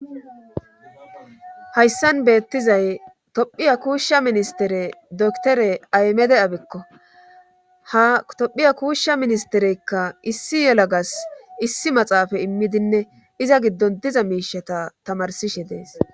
Hayssan beettizay tophiya kuushsha ministere doktore aymede abekko ha tophiya kuushsha ministereykka issi yelagas issi maxaafa immidinne iza giddon diza miishata tamarsishe dees.